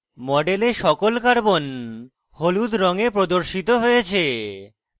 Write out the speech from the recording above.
model সকল carbons হলুদ রঙে প্রদর্শিত হয়েছে